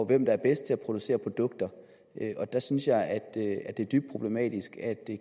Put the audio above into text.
hvem der er bedst til at producere produkter der synes jeg at det er dybt problematisk at